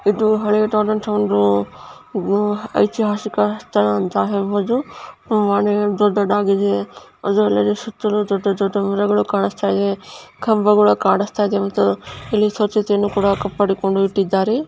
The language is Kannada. ಇದು ಹಳೆಯದಾದಂತ ಒಂದು ಐತಿಹಾಸಿಕ ಸ್ಥಳ ಅಂತ ಹೇಳಬಹುದು ಮನೆ ದೊಡ್ಡದಾಗಿದೆ ಅದರ ಸುತ್ತಮುತ್ತ ದೊಡ್ಡ ದೊಡ್ಡ ಮರಗಳು ಕಾಣಿಸ್ತಾ ಇದೆ ಕಂಬ ಕೂಡ ಕಾಣಿಸ್ತಾ ಇದೆ ಇಲ್ಲಿ ಸ್ವಚ್ಛತೆ ಏನು ಕೂಡ ಕಾಪಾಡಿಕೊಂಡು ಇಟ್ಟಿದ್ದಾರೆ.